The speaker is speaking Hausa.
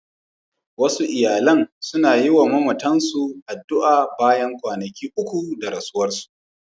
Wasu iyalan suna yi wa mamatansu addu'a bayan kwanaki uku da rasuwarsu.